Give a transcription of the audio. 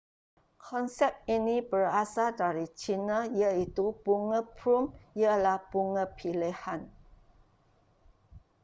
konsep ini berasal dari china iaitu bunga plum ialah bunga pilihan